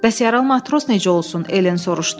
Bəs yaralı matros necə olsun, Elen soruşdu.